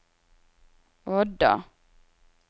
Odda